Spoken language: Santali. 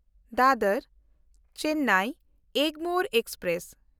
ᱫᱟᱫᱚᱨ-ᱪᱮᱱᱱᱟᱭ ᱮᱜᱽᱢᱳᱨ ᱮᱠᱥᱯᱨᱮᱥ